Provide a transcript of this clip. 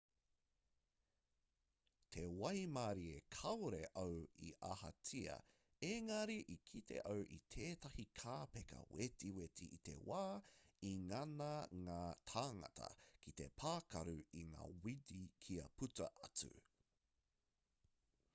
te waimarie kāore au i ahatia ēngari i kite au i tētahi kāpeka wetiweti i te wā i ngana ngā tāngata ki te pākaru i ngā wini kia puta atu